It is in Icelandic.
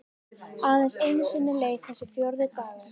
Aðeins einu sinni leið þessi fjórði dagur.